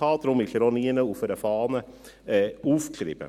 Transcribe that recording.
Deshalb ist er auch nirgends auf einer Fahne aufgeschrieben.